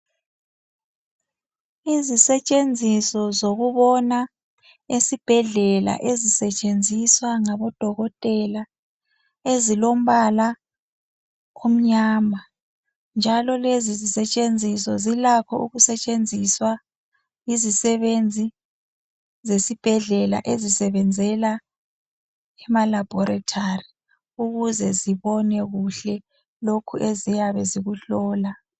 Izisetshenziso zokubona esibhedlela ezisetshenziswa ngabodokotela ezilombala omnyama, njalo lezi sisetshenziso zilakho ukusetshenziswa yizisebenzi zesibhedlela ezisebenzela emalabholithali ukuze zibone kuhle lokhu eziyabe zikuhlola.